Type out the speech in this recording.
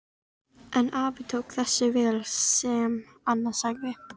En afi tók þessu vel sem Anna sagði.